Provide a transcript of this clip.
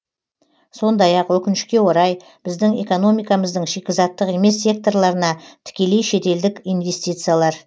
сондай ақ өкінішке орай біздің экономикамыздың шикізаттық емес секторларына тікелей шетелдік инвестициялар